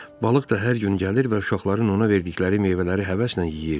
Balıq da hər gün gəlir və uşaqların ona verdikləri meyvələri həvəslə yeyirdi.